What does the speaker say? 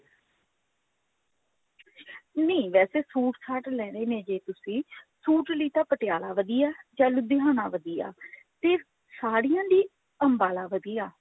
ਨਹੀਂ ਵੈਸੇ suit ਸਾਟ ਲੇਣੇ ਨੇ ਜੇ ਤੁਸੀਂ suit ਲਈ ਤਾਂ ਪਟਿਆਲਾ ਵਧੀਆ ਜਾ ਲੁਧਿਆਣਾ ਵਧੀਆ ਤੇ ਸਾੜੀਆਂ ਲਈ ਅੰਬਾਲਾ ਵਧੀਆ